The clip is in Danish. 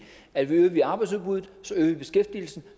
at øger vi arbejdsudbuddet øger vi beskæftigelsen